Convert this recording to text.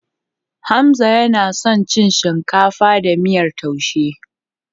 Hamza yana son cin shinkafa da miyar taushe.